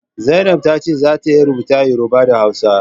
Zainab ta ce za ta iya rubuta Yoruba da Hausa